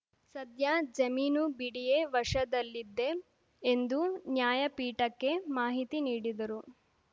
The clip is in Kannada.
ಸದ್ಯ ಜಮೀನು ಬಿಡಿಎ ವಶದಲ್ಲಿದ್ದೆ ಎಂದು ನ್ಯಾಯಪೀಠಕ್ಕೆ ಮಾಹಿತಿ ನೀಡಿದರು